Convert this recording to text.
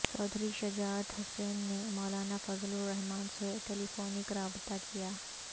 چوہدری شجاعت حسین نے مولانا فضل الرحمان سے telephonic رابطہ کیا